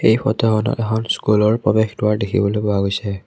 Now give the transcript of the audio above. এই ফটোখনত এখন স্কুলৰ প্ৰবেশ দুৱাৰ দেখিবলৈ পোৱা গৈছে।